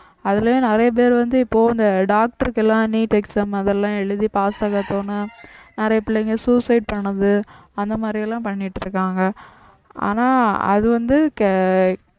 அதுலயும் நிறைய பேர் வந்து இப்போ இந்த doctor க்கு எல்லாம் neet exam அதெல்லாம் எழுதி pass ஆக போனா நிறைய பிள்ளைங்க suicide பண்ணுது அந்த மாதிரி எல்லாம் பண்ணிட்டு இருக்காங்க ஆனா அது வந்து